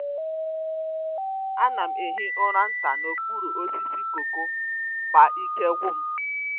A na-ehi ụra nta n’okpuru osisi cocoa ma ike gwụ m.